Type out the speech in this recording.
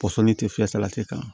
Pɔsɔnni tɛ filɛ salati kan